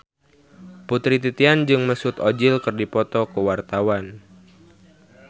Putri Titian jeung Mesut Ozil keur dipoto ku wartawan